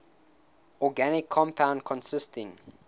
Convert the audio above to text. organic compound consisting